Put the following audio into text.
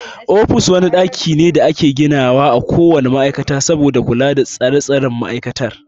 Ofis wani ɗaki ne da ake gina wa a ko wane ma'aikata saboda kula da tsare tsaren ma'aikatar.